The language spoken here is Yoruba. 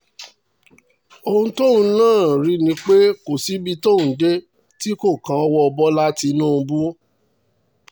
ohun tó rí náà ni pé kò sí ibi tí ó dé tí kò kan owó bọ́lá tìǹbù